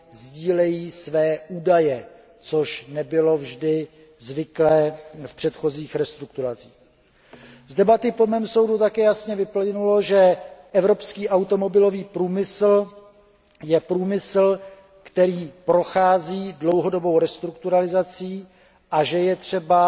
sdílejí své údaje, což nebylo vždy zvykem v předchozích restrukturalizacích. Dle mého názoru z debaty také jasně vyplynulo, že evropský automobilový průmysl je průmyslem, který prochází dlouhodobou restrukturalizací, a že je třeba